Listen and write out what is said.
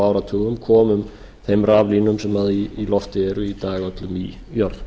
áratugum komum þeim raflínum sem í lofti eru í dag öllum í jörð